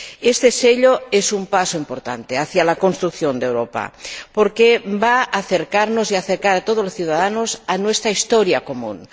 Este sello es un paso importante hacia la construcción de Europa porque va a acercarnos y acercar a todos los ciudadanos a nuestra historia común.